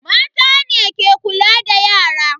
Mata ne ke kula da yara.